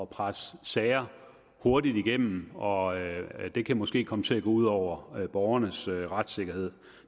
presse sager hurtigt igennem og det kan måske komme til at gå ud over borgernes retssikkerhed